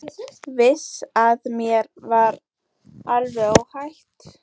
Vissi að mér var alveg óhætt.